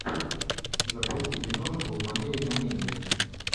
запусти киношку в манере комедии